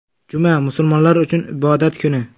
Juma, musulmonlar uchun ibodat kuni.